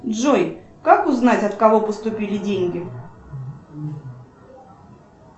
джой как узнать от кого поступили деньги